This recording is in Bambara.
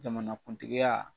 Jamanakuntigiya